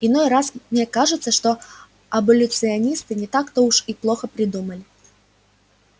иной раз мне кажется что аболиционисты не так-то уж и плохо придумали